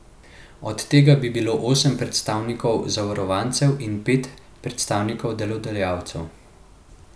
Od tega bi bilo osem predstavnikov zavarovancev in pet predstavnikov delodajalcev.